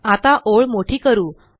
आता ओळ मोठी करू